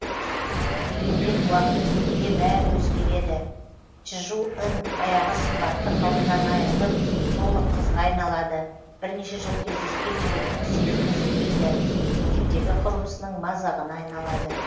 дегенмен уақыт өте келе бәрі өзегереді чжу ын баяғы сымбатты қалпынан айырылып толық қызға айналады бірнеше жыл кездескен жігітінің сезімі суиды мектептегі құрбысының мазағына айналады